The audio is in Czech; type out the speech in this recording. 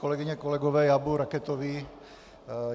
Kolegyně, kolegové, já budu raketový.